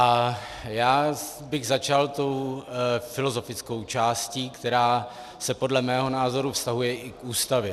A já bych začal tou filozofickou částí, která se podle mého názoru vztahuje i k Ústavě.